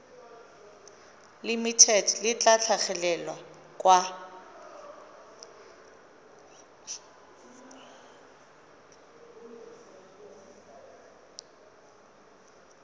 limited le tla tlhagelela kwa